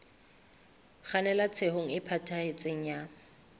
kgannela tshenyong e phethahetseng ya